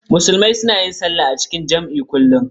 Musulmai suna yin sallah a cikin jam'i kullum.